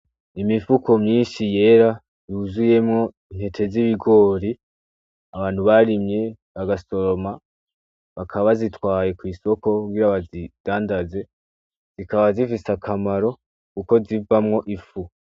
Imifuko myinshi yera yuzuyemwo intete z'ibigori abantu barimye bagasoroma bakaba zitwaye kw'isoko kugira abazidandaze zikaba zifise akamaro, kuko zivamwo ifu.